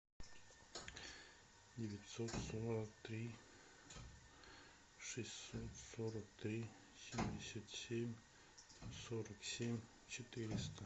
девятьсот сорок три шестьсот сорок три семьдесят семь сорок семь четыреста